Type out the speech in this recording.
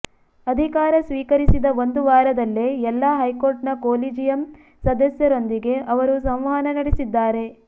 ಅಧಿಕಾರ ಸ್ವೀಕರಿಸಿದ ಒಂದು ವಾರದಲ್ಲೇ ಎಲ್ಲ ಹೈಕೋರ್ಟ್ನ ಕೊಲೀಜಿಯಂ ಸದಸ್ಯೆರೊಂದಿಗೆ ಅವರು ಸಂವಹನ ನಡೆಸಿದ್ದಾರೆ